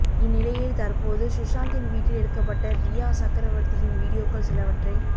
இந்நிலையில் தற்போது சுஷாந்தின் வீட்டில் எடுக்கப்பட்ட ரியா சக்ரவர்த்தியின் வீடியோக்கள் சிலவற்றை